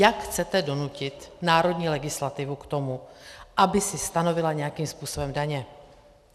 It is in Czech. Jak chcete donutit národní legislativu k tomu, aby si stanovila nějakým způsobem daně?